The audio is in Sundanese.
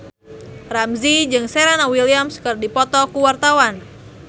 Ramzy jeung Serena Williams keur dipoto ku wartawan